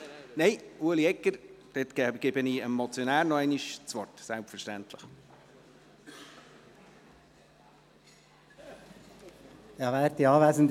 Nein, ich gebe selbstverständlich dem Motionär Ueli Egger nochmals das Wort.